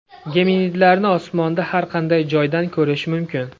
Geminidlarni osmonda har qanday joydan ko‘rish mumkin.